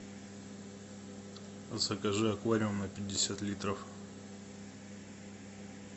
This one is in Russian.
закажи аквариум на пятьдесят литров